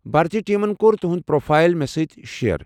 بھارتی ٹیمن كوٚر تُہنٛد پروفائل مےٚ سٕتۍ شییر ۔